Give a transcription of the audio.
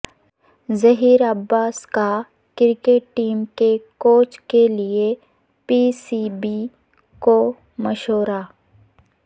ظہیر عباس کا cricket team کے coach کے لیے پی سی بی کو مشورہ